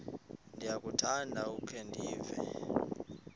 ndiyakuthanda ukukhe ndive